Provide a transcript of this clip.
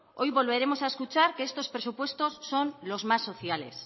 hoy volveremos a escuchar que estos presupuestos son los más sociales